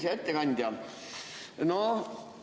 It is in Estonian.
Hea ettekandja!